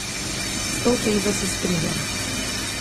S to tezo se strinjam.